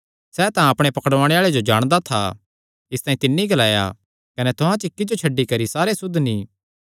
सैह़ तां अपणे पकड़ुआणे आल़े जो जाणदा था इसतांई तिन्नी ग्लाया कने तुहां च इक्की जो छड्डी करी सारे सुद्ध नीं